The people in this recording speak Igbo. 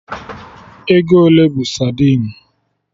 Ego ole bụ sadin?